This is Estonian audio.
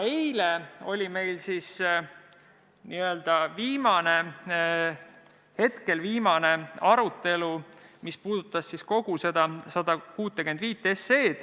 Eile oli meil hetkel viimane arutelu, mis puudutas eelnõu 165.